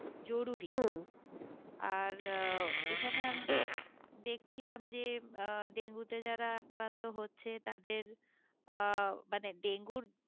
জরুরি আর আহ এখানে আমরা দেখছিলাম যে আহ ডেঙ্গু তে যারা আক্রান্ত হচ্ছে তাদের মানে আহ ডেঙ্গুর